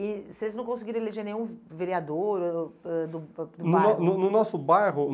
E vocês não conseguiram eleger nenhum ve vereador ãh ãh ãh do ba do bairro? No no no no nosso bairro